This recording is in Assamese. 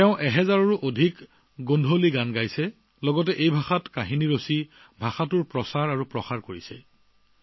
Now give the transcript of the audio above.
তেওঁ সহস্ৰাধিক গোন্ধালী গীত গাইছে লগতে এই ভাষাত লিখা গল্পসমূহো জনপ্ৰিয় কৰি তুলিছে